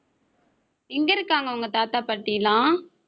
எங்க இருக்காங்க உங்க தாத்தா, பாட்டி எல்லாம்